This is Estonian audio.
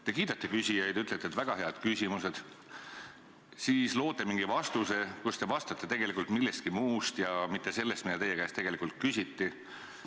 Te kiidate küsijaid – ütlete, et väga head küsimused –, siis loote mingi vastuse, kus te räägite tegelikult millestki muust, aga mitte sellest, mida teie käest tegelikult küsiti.